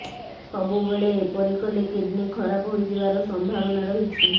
ସବୁବେଳେ ଏପରି କଲେ କିଡନୀ ଖରାପ ହୋଇଯିବାର ସମ୍ଭାବନା ରହିଛି